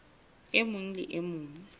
e mong le e mong